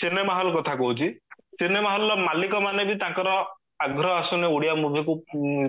cinema hall କଥା କହୁଚି ଆଗ୍ରହ ଆସୁଣୀ ଓଡିଆ movie କୁ